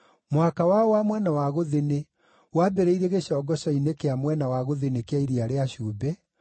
Mũhaka wao wa mwena wa gũthini wambĩrĩire gĩcongoco-inĩ kĩa mwena wa gũthini kĩa Iria rĩa Cumbĩ,